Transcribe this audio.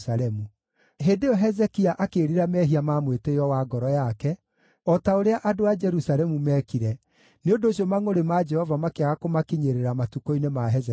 Hĩndĩ ĩyo Hezekia akĩĩrira mehia ma mwĩtĩĩo wa ngoro yake, o ta ũrĩa andũ a Jerusalemu meekire, nĩ ũndũ ũcio mangʼũrĩ ma Jehova makĩaga kũmakinyĩrĩra matukũ-inĩ ma Hezekia.